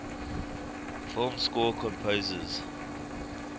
film score composers